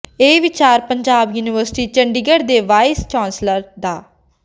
ਇਹ ਵਿਚਾਰ ਪੰਜਾਬ ਯੂਨੀਵਰਸਿਟੀ ਚੰਡੀਗੜ੍ਹ ਦੇ ਵਾਈਸ ਚਾਂਸਲਰ ਡਾ